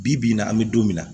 Bi bi in na an bɛ don min na